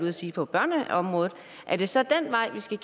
at sige på børneområdet er det så den vej vi skal